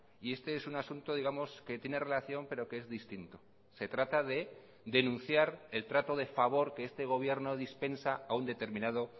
y este es un asunto digamos que tiene relación pero que es distinto se trata de denunciar el trato de favor que este gobierno dispensa a un determinado